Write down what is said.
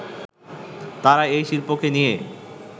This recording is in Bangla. তারা এ শিল্পকে নিয়ে